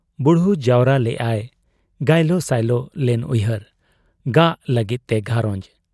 ᱵᱩᱲᱦᱩ ᱡᱟᱣᱨᱟ ᱞᱮᱜ ᱟᱭ ᱜᱟᱭᱞᱚ ᱥᱟᱭᱞᱚ ᱞᱮᱱ ᱩᱭᱦᱟᱹᱨ ᱾ ᱜᱟᱜᱽ ᱞᱟᱹᱜᱤᱫ ᱛᱮ ᱜᱷᱟᱨᱚᱸᱡᱽ ᱾